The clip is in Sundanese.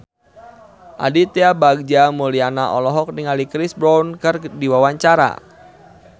Aditya Bagja Mulyana olohok ningali Chris Brown keur diwawancara